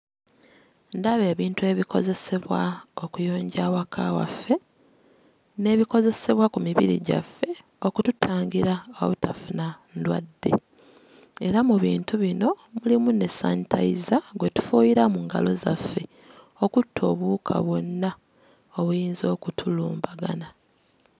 Ndaba ebintu ebikozesebwa okuyonja awaka waffe n'ebikozesebwa ku mibiri gyaffe okututangira obutafuna ndwadde, era mu bintu bino mulimu ne sanitayiza gwe tufuuyira mu ngalo zaffe okutta obuwuka bwonna obuyinza okutulumbagana.